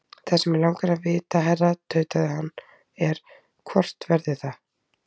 Það sem mig langar að vita, herra tautaði hann, er, hvort verður það?